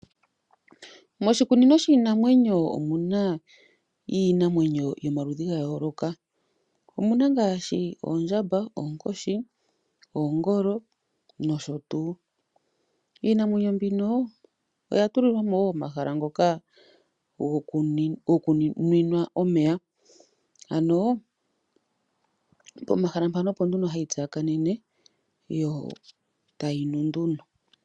Moshikunino shiinamwenyo omuna iinamwenyo yomaludhi ga yooloka. Omuna ngaashi oondjamba, oonkoshi, oongolo nosho tuu. Iinamwenyo mbino oya tulilwa mo wo omahala ngoka gokuninwa omeya, ano pomahala mpano opo nduno hayi tsakanene yo tayi nu nduno.